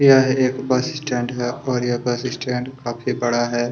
यह एक bus stand है और यह बस स्टैंड काफी बड़ा है।